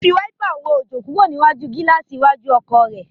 Ó fi wáípà wọ́ òjò kúrò lára gíláàsì iwájú ọkọ̀.